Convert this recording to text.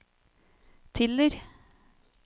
Tiller